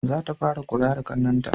Za ta fara kula da ƙannen ta